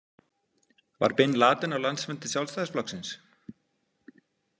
Var Bin Laden á landsfundi Sjálfstæðisflokksins?